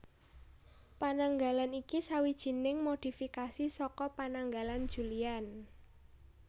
Pananggalan iki sawijining modhifikasi saka Pananggalan Julian